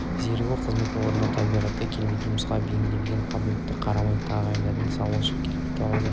зерігу қызмет орнына табиғаты келмейтін жұмысқа бейімділігіне қабілетіне қарамай тағайындай салушылықтан келіп туады